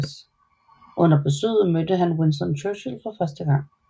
Under besøget mødte han Winston Churchill for første gang